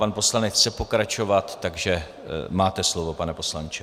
Pan poslanec chce pokračovat, takže máte slovo, pane poslanče.